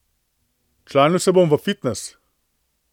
Včlanil se bom v fitnes.